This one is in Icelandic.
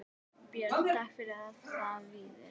Björn: Takk fyrir það Víðir.